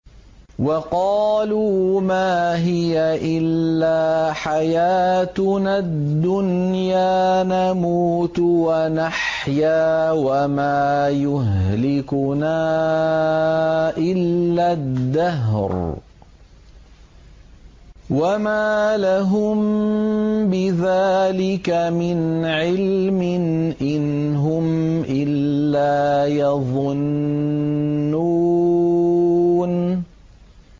وَقَالُوا مَا هِيَ إِلَّا حَيَاتُنَا الدُّنْيَا نَمُوتُ وَنَحْيَا وَمَا يُهْلِكُنَا إِلَّا الدَّهْرُ ۚ وَمَا لَهُم بِذَٰلِكَ مِنْ عِلْمٍ ۖ إِنْ هُمْ إِلَّا يَظُنُّونَ